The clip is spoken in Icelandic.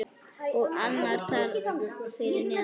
Og annar þar fyrir neðan.